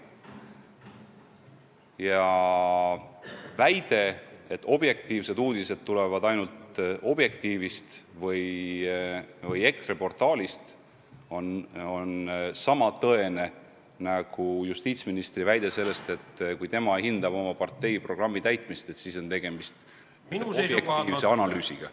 Ja väide, et objektiivsed uudised tulevad ainult portaalist Objektiiv või EKRE portaalist, on sama tõene nagu justiitsministri väide selle kohta, et kui tema hindab oma partei programmi täitmist, siis on tegemist objektiivse analüüsiga.